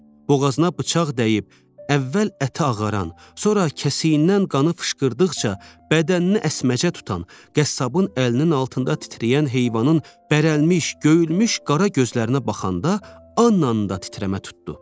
Boğazına bıçaq dəyib əvvəl əti ağaran, sonra kəsiyindən qanı fışqırdıqca bədənini əsməcə tutan, qəssabın əlinin altında titrəyən heyvanın bərəlimiş, göyülmüş qara gözlərinə baxanda Annanın da titrəmə tutdu.